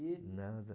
De nada.